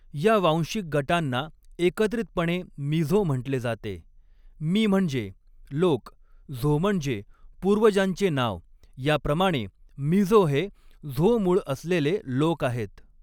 या वांशिक गटांना एकत्रितपणे मिझो म्हटले जाते, मि म्हणजे लोक, झो म्हणजे पूर्वजांचे नाव, याप्रमाणे मिझो हे झो मूळ असलेले लोक आहेत.